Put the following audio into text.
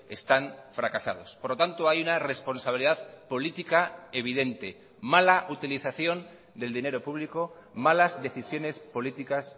están fracasados por lo tanto hay una responsabilidad política evidente mala utilización del dinero público malas decisiones políticas